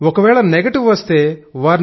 ఒకవేళ నెగిటివ్ వస్తే వారిని